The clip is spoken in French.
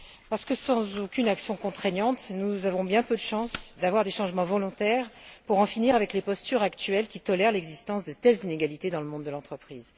Parce que sans aucune action contraignante, nous avons peu de chances d'assister à des changements volontaires pour en finir avec les postures actuelles, qui tolèrent l'existence de telles inégalités dans le monde de l'entreprise.